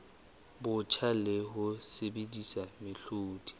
botjha le ho sebedisa mehlodi